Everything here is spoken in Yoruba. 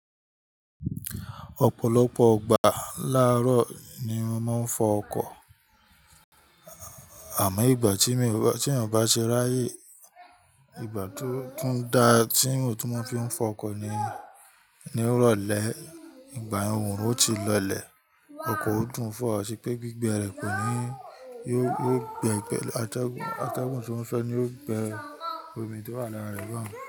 Ọ̀pọ̀lọpọ̀ gbà láàárọ̀ ni mo máa ń fọ ọkọ̀. Àmọ́ ìgbà tí ènìyàn bá ṣe ráyè, ìgbà tó tún da tí mo n tu máa fi fọ ọkọ̀ ni ní ìrọ̀lẹ́ ìgbà òòrùn ó ti lọlẹ̀. Ọkọ̀ ó dùn fọ̀, ṣe pé gbígbẹ rẹ kò ní yóò gbẹ gbẹ, atẹ́gùn, atẹ́gùn tí wọ́n fẹ́ ní yóò gbẹ omi tó wà lára rẹ̀ gàn.